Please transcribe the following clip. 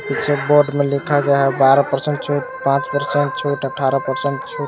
पीछे बोर्ड में लिखा गया है बारह पर्सेंट छूट पांच पर्सेंट छूट अठारह पर्सेंट छूट।